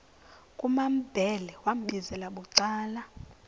kumambhele wambizela bucala